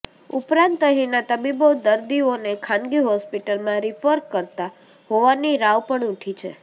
ઉપરાંત અહીંના તબીબો દર્દીઓને ખાનગી હોસ્પિટલમાં રીફર કરતા હોવાની રાવ પણ ઉઠી છે